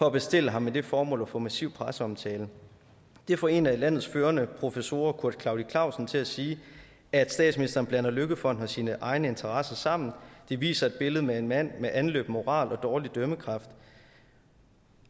at bestille ham med det formål at få massiv presseomtale det får en af landets førende professorer kurt klaudi klausen til at sige at statsministeren blander løkkefonden og sine egne interesser sammen det viser et billede med en mand med anløben moral og dårlig dømmekraft